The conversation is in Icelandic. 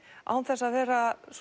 án þess að vera